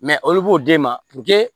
olu b'o d'e ma